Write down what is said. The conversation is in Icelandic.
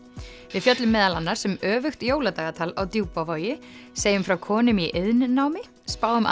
við fjöllum meðal annars um öfugt jóladagatal á Djúpavogi segjum frá konum í iðnnámi spáum